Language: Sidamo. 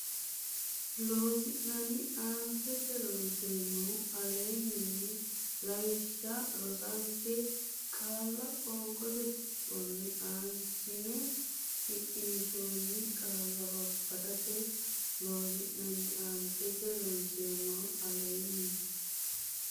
Loossinanni aantete ronseemmohu aleenni ini lawishshi rosinke qaalla qoonqote tuqqonni aanchine shiqqin shoonni qaalla babbadate Loossinanni aantete ronseemmohu aleenni ini.